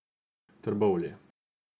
Trbovlje.